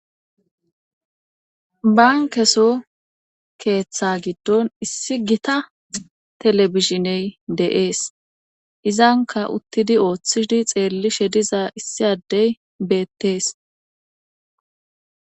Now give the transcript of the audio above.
bankeso keeththa giddon issi gita telebizhiney deees izanka uttidi ooththidi xeellishe diza issi addey beettees